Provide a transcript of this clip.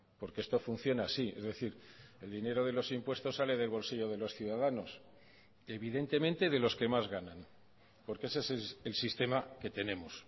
porque esto funciona así es decir el dinero de los impuestos sale del bolsillo de los ciudadanos evidentemente de los que más ganan porque ese es el sistema que tenemos